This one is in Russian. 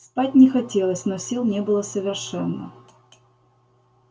спать не хотелось но сил не было совершенно